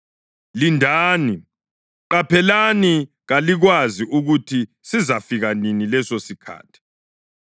Lindani! Qaphelani! Kalikwazi ukuthi sizafika nini lesosikhathi.